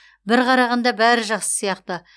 бір қарағанда бәрі жақсы сияқты